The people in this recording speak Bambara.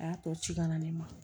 A y'a tɔ ci ka na ne ma